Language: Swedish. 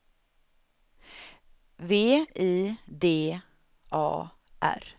V I D A R